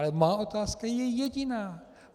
Ale má otázka je jediná.